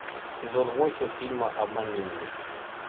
сезон восемь фильма обмани меня